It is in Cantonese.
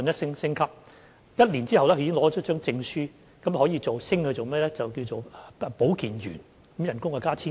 在修讀一年後，他們如獲得證書，可以晉升為保健員，加薪千多元。